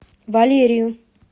валерию